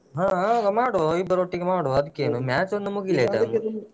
ಹಾ ಹಾ ಮಾಡುವ ಇಬ್ಬರು ಒಟ್ಟಿಗೆ ಮಾಡುವ ಅದ್ಕೇನು match ಒಂದು ಮುಗಿಲಿ